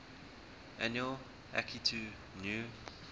annual akitu new